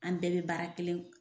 An bɛɛ be baara kelen